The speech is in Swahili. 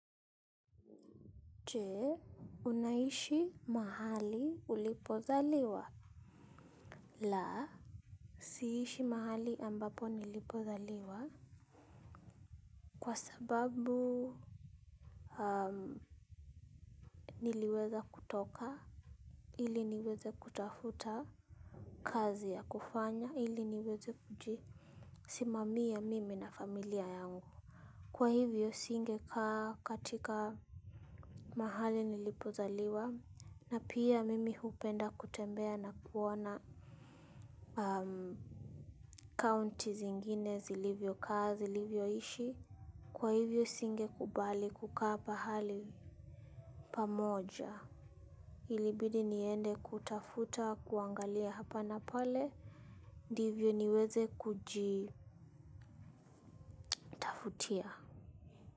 Chee, unaishi mahali ulipozaliwa? Laa, siishi mahali ambapo nilipothaliwa. Kwa sababu niliweza kutoka ili niweze kutafuta kazi ya kufanya ili niweze kuji. Simamia mimi na familia yangu. Kwa hivyo singe kaa katika mahali nilipozaliwa na pia mimi hupenda kutembea na kuona county zingine zilivyo kaa zilivyo ishi. Kwa hivyo singe kubali kukapa hali pamoja. Ilibidi niende kutafuta kuangalia hapa na pale ndivyo niweze kujitafutia.